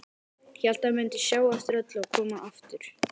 Hélt hann mundi sjá eftir öllu og koma aftur.